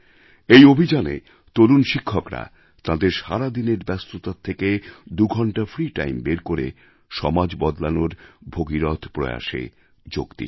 এই অভিযানে তরুণ শিক্ষকরা তাঁদের সারাদিনের ব্যস্ততার থেকে দুঘণ্টা ফ্রি টাইম বের করে সমাজ বদলানোর ভগীরথ প্রয়াসে যোগ দিচ্ছেন